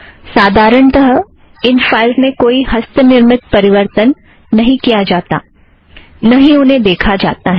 साधारणतः इन फ़ाइलज़ में कोई हस्तनिर्मित परिवर्तन नहीं किया जाता ना ही उन्हें देखा जाता है